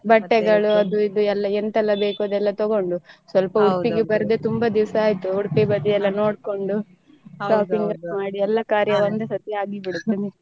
ಬಟ್ಟೆಗಳು ಅದು ಇದು ಎಂತೆಲ್ಲ ಬೇಕು ಅದೆಲ್ಲ ತಗೊಂಡು ಸ್ವಲ್ಪ udupi ಗೆ ಬರ್ದೇ ತುಂಬಾ ದಿವಸ ಆಯ್ತ್ udupi ಗೆ ಬದಿ ಎಲ್ಲ ನೋಡ್ಕೊಂಡು shopping ಮಾಡಿ ಎಲ್ಲ ಕಾರ್ಯ ಒಂದೇ ಸರ್ತಿ ಆಗಿ ಬಿಡ್ತದೆ.